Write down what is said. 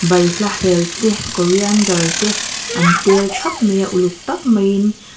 balhla hel te coriander te an tel thap mai a uluk tak mai in.